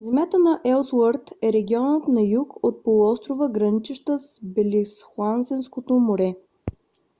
земята на елсуърт е регионът на юг от полуострова граничеща с белингсхаузенското море